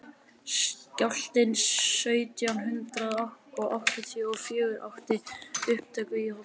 skjálftinn sautján hundrað áttatíu og fjögur átti upptök í holtum